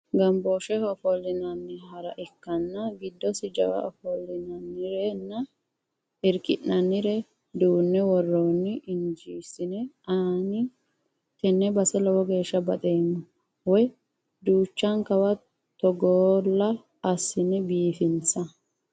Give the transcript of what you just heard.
Gamboosheho ofollinanni hara ikkanna giddosi jawa ofollinannirenna irki'nannire duune woroni injeesine ani tene base lowo geeshsha baxoommo woyi duuchankawa togolla assine biifinsa.